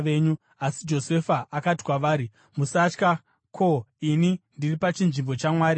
Asi Josefa akati kwavari, “Musatya. Ko, ini ndiri pachinzvimbo chaMwari here?